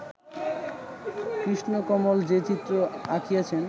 কৃষ্ণকমল যে চিত্র আঁকিয়াছেন